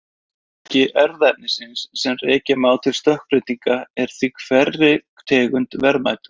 Fjölbreytileiki erfðaefnis sem rekja má til stökkbreytinga er því hverri tegund verðmætur.